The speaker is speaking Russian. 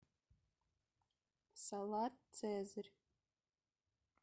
салат цезарь